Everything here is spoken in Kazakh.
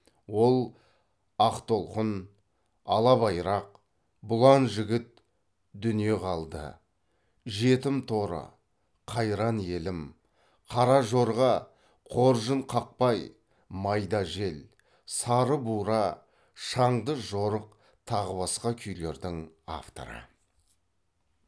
ол ақ толқын ала байрақ бұлан жігіт дүние қалды жетім торы қайран елім қара жорға қоржынқақпай майда жел сары бура шаңды жорық тағы басқа күйлердің авторы